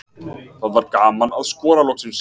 Það var gaman að skora loksins.